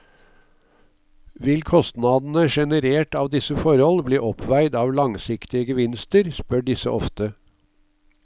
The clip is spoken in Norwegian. Vil kostnadene generert av disse forhold bli oppveid av langsiktige gevinster, spør disse ofte.